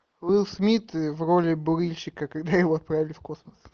уилл смит в роли бурильщика когда его отправили в космос